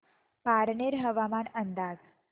पारनेर हवामान अंदाज